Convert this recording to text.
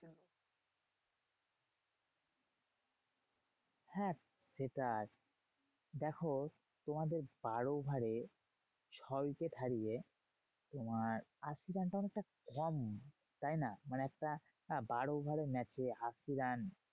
হ্যাঁ সেটাই দেখো তোমাদের বারো over এ ছ wicket হারিয়ে তোমার আশি run টা অনেকটা কম। তাইনা? মানে একটা বারো over এর match এ আশি run